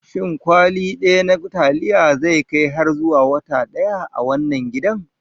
Shin kwali ɗaya na taliya zai kai har zuwa wata ɗaya a wannan gidan?